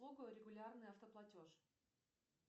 регулярный автоплатеж